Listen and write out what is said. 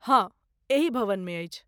हँ, एही भवनमे अछि।